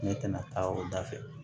Ne tɛna taa o da fɛ